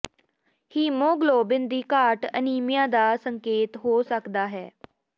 haemoglobin ਦੀ ਘਾਟ anaemia ਦਾ ਸੰਕੇਤ ਹੋ ਸਕਦਾ ਹੈ